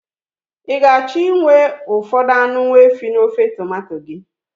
Ị ga-achọ inwe ụfọdụ anụ nwaehi n'ofe tomanto gị?